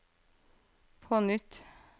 på nytt